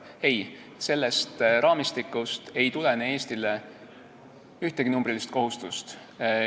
Ei, sellest raamistikust ei tulene Eestile ühtegi numbrilist kohustust.